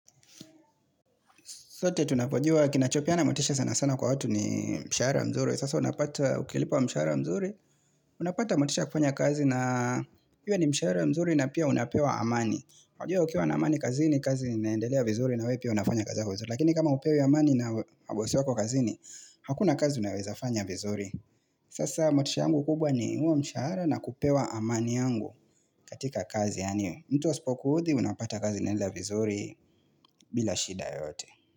Sote tunapojua kinachopeana motisha sana sana kwa watu ni mshahara mzuri. Sasa unapata ukilipwa mshahara mzuri. Unapata motisha ya kufanya kazi na iwe ni mshahara mzuri na pia unapewa amani. Unajua ukiwa na amani kazini kazi inaendelea vizuri na wewe pia unafanya kazi yako vizuri. Lakini kama hupewi amani na bosi wako kazini hakuna kazi unawezafanya vizuri. Sasa motisha yangu kubwa ni huo mshahara na kupewa amani yangu katika kazi. Mtu asipoku udhi unapata kazi inaenda vizuri bila shida yoyote.